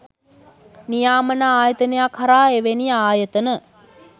නියාමන ආයතනයක් හරහා එවැනි ආයතන